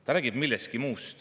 Ta räägib millestki muust.